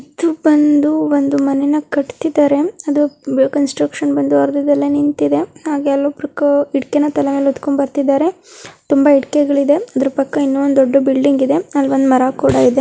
ಇದು ಬಂದು ಒಂದ್ ಮನೆನ ಕಟ್ಟತಿದಾರೆ ಅದು ಕನ್ಸ್ಟ್ರಕ್ಷನ್ ಬಂದು ಅರ್ಧದಲ್ಲಿ ನಿಂತಿದೆ ಹಾಗೆ ಅಲ್ಲಿ ಒಬ್ಬರು ಇಟಿಕೆ ನ ತಲೆ ಮೇಲೆ ಹೊತ್ಕೊಂಡು ಬರತ್ತಿದ್ದಾರೆ ತುಂಬಾ ಇಟಿಕೆಗಳಿವೆ ಇದೆ ಇನ್ ಎಡರು ಪಕ್ಕ ಒಂದು ಡೋಹದು ಬಿಲ್ಡಿಂಗ್ ಇದೆ ಅಲ್ಲ ಒಂದು ಮರ ಕೂಡ ಇದೆ.